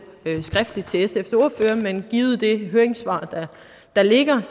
til sfs ordfører men givet det høringssvar der ligger